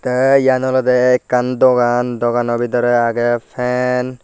te iyan olode ekkan dogan dogano bidiri agey fan.